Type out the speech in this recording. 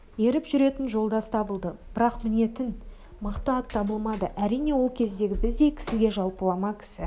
еріп жүретін жолдас табылды бірақ мінетін мықты ат табылмады әрине ол кездегі біздей кісіге жалпылама кісі